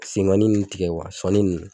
Senkɔnnin nin tigɛ sɔɔni nin.